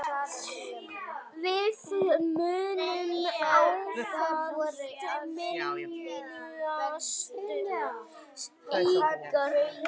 Við munum ávallt minnast ykkar.